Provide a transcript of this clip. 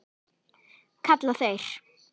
kalla þeir.